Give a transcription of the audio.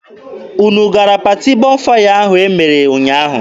Unu gara paati Bọnfaya ahụ e mere ụnyaahụ.